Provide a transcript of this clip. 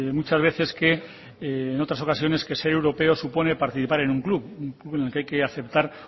muchas veces que en otras ocasiones que ser europeo supone participar en un club un club en el que hay que aceptar